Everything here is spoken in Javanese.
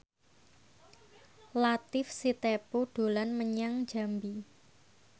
Latief Sitepu dolan menyang Jambi